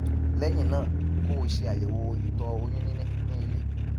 lẹyìn náà kó o ṣe àyẹwò ìtọ oyún níní ní ilé